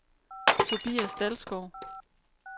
Tobias Dalsgaard